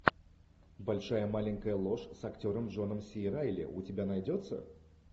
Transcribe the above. большая маленькая ложь с актером джоном си райли у тебя найдется